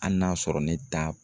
Hali n'a sɔrɔ ne da